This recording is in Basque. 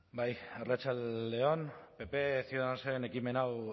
bai arratsalde on pp ciudadanosen ekimen hau